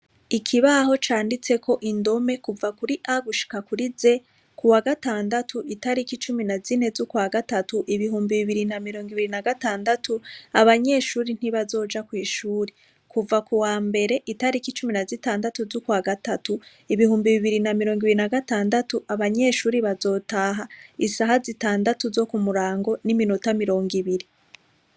Ikibaho canditseko indome kuva kuri agu shikakuri ze ku wa gatandatu itariko icumi na zine z'ukwa gatatu ibihumbi bibiri na mirongo ibiri na gatandatu abanyeshuri ntibazoja kw'ishuri kuva ku wa mbere itariko icumi na zitandatu z'ukwa gatatu ibihumbi bibiri na mirongo ibiri na gatandatu abanyeshuri baza zotaha isaha zitandatu zo ku murango n'iminota mirongo ibiri.